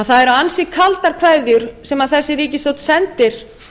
það eru ansi kaldar kveðjur sem þessi ríkisstjórn sendir